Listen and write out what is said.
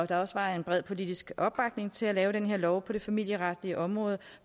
der også var en bred politisk opbakning til at lave den her lov på det familieretlige område